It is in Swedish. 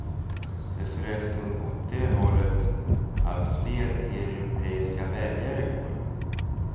Det är förresten åt det hållet alltfler europeiska väljare går.